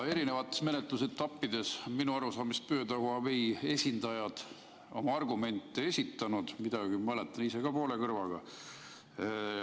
Eri menetlusetappides minu arusaamist mööda on Huawei esindajad oma argumente esitanud, midagi mäletan ise ka, sest kuulsin poole kõrvaga.